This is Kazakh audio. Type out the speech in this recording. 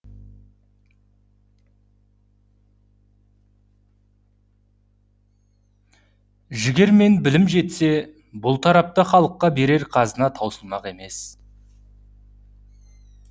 жігер мен білім жетсе бұл тарапта халыққа берер қазына таусылмақ емес